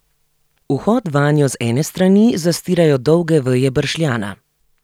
Vhod vanjo z ene strani zastirajo dolge veje bršljana.